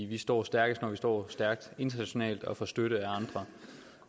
vi står stærkest når vi står stærkt internationalt og får støtte af andre